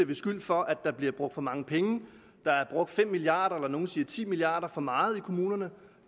beskyldt for at der bliver brugt for mange penge der er brugt fem milliard kr nogle siger ti milliard kr for meget i kommunerne